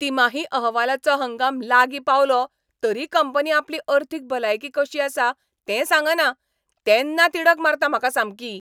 तिमाही अहवालाचो हंगाम लागीं पावलो तरी कंपनी आपली अर्थीक भलायकी कशी आसा तें सांगना तेन्ना तिडक मारता म्हाका सामकी.